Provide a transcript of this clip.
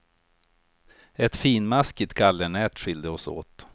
Ett finmaskigt gallernät skilde oss åt.